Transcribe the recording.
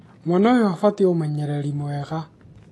mwana ũyũ abatiĩ ũmenyereri mwega